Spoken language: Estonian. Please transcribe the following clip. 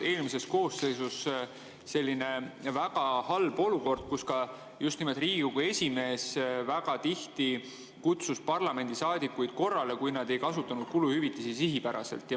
Eelmises koosseisus tekkis selline väga halb olukord ja just nimelt Riigikogu esimees väga tihti kutsus parlamendisaadikuid korrale, kui nad ei kasutanud kuluhüvitisi sihipäraselt.